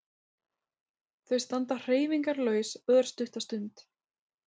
Þau standa hreyfingarlaus örstutta stund.